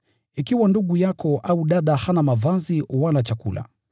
Ikiwa ndugu yako au dada hana mavazi wala chakula,